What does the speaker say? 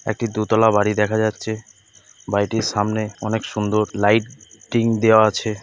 একটি দোতলা বাড়ি দেখা যাচ্ছে। বাড়িটির সামনে অনেক সুন্দর লাইট-টিং দেওয়া আছে ।